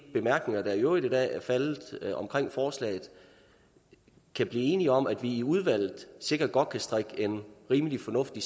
bemærkninger der i øvrigt i dag er faldet omkring forslaget kan blive enige om at vi i udvalget sikkert godt kan strikke en rimelig fornuftig